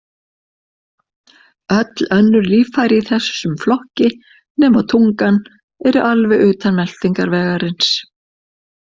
Öll önnur líffæri í þessum flokki, nema tungan, eru alveg utan meltingarvegarins.